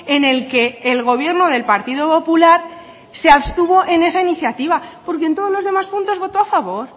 en el que el gobierno del partido popular se abstuvo en esa iniciativa porque en todos los demás puntos votó a favor